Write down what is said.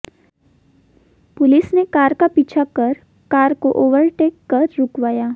police ने car का पीछा कर कार को ओवरटेक कर रुकवाया